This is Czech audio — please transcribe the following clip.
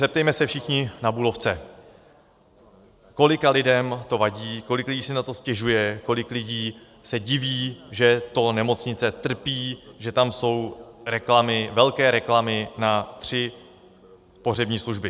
Zeptejme se všichni na Bulovce, kolika lidem to vadí, kolik lidí si na to stěžuje, kolik lidí se diví, že to nemocnice trpí, že tam jsou reklamy, velké reklamy na tři pohřební služby.